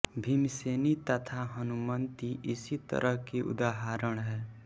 भीमसेनी तथा हनुमन्ती इसी तरह की उदहारण है